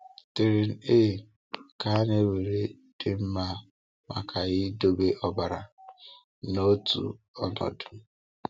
Tren A ka a na-ewere dị mma maka idobe ọbara n’otu ọnọdụ.